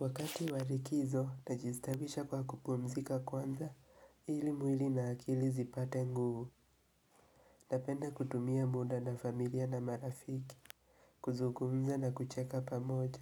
Wakati wa rikizo najistabisha kwa kupumzika kwanza ili mwili na akili zipate nguvu Napenda kutumia muda na familia na marafiki kuzugumza na kucheka pamoja